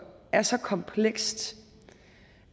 er så komplekst